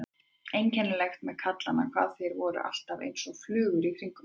Einkennilegt með kallana hvað þeir voru alltaf einsog flugur í kringum hana.